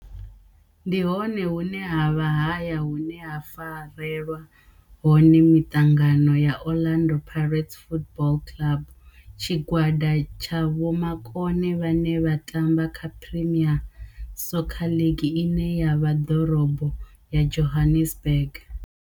Ndi hone hune havha haya hune ha farelwa hone mitangano ya Orlando Pirates Football Club. Tshigwada tsha vhomakone vhane vha tamba kha Premier Soccer League ine ya vha ḓorobo ya Johannesburg.